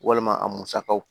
Walima a musakaw